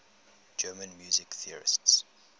german music theorists